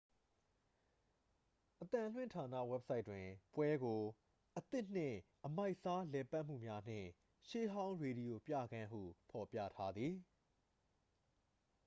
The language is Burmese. "အသံလွှင့်ဌာန ဝက်ဘ်ဆိုက်တွင် ပွဲကို "အသစ်နှင့် အမိုက်စား လည်ပတ်မှုများနှင့် ရှေးဟောင်း ရေဒီယို ပြခန်း""ဟု ဖော်ပြထားသည်။